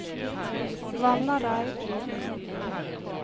Vannareid